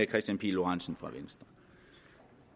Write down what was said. kristian pihl lorentzen fra venstre